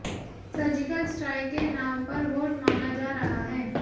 surgical strike के नाम पर वोट मांगा जा रहा है